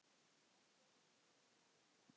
Oft er hveljan alveg glær.